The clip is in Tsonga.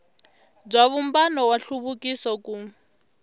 bya vumbano wa nhluvukiso ku